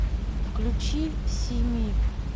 включи сими